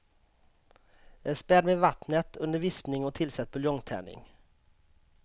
Späd med vattnet under vispning och tillsätt buljongtärning.